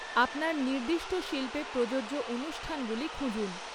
আপনার নির্দিষ্ট শিল্পে প্রযোজ্য অনুষ্ঠানগুলি খুঁজুন।